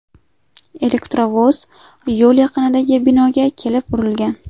Elektrovoz yo‘l yaqinidagi binoga kelib urilgan.